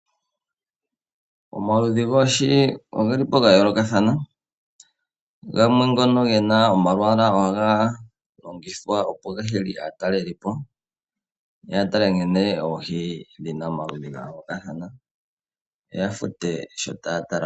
Omaludhi goohi ogelipo ga yoolokathana. Gamwe ngono gena omalwaala ohaga longithwa opo ga hile aatalelipo ya tale nkene oohi dhina omaludhi ga yoolokathana, yo ya fute sho taya tala.